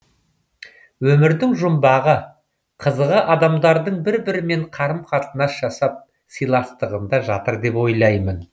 өмірдің жұмбағы қызығы адамдардың бір бірімен қарым қатынас жасап сыйластығында жатыр деп ойлаймын